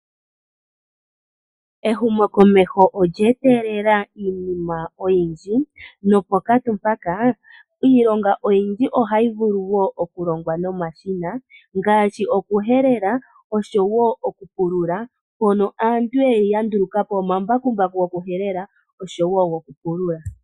Ehumokomeho olye etelela iinima oyindji, noponkatu mpaka, iilonga oyindji ohayi vulu wo okulongwa nomashina, ngaashi okuhelela osho wo okupulula, mpono aantu ya nduluka po omambakumbaku gokuhelela osho wo gokupulula.